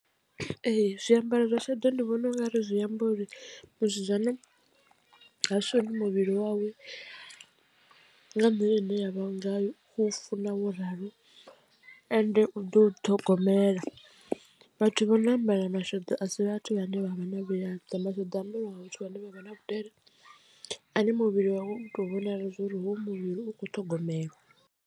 Ee zwiambaro zwa sheḓo ndi vhona ungari zwiamba uri musidzana ha shoni muvhili wawe nga nḓila ine ya vha nga u funa wo ralo ende u ḓo u ṱhogomela vhathu vha no ambara masheḓo a si vhathu vhane vha vha na vhuyaḓa masheḓo ambarwa vhathu vhane vha vha na vhudele ane muvhili wawe u tou vhonala zwa uri hoyu muvhili u kho ṱhogomelwa.